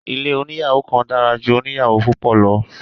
Ilé oníyàwò kan dára ju oníyàwò púpọ̀ lọ.